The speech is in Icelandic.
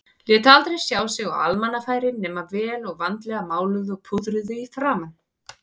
Lét aldrei sjá sig á almannafæri nema vel og vandlega máluð og púðruð í framan.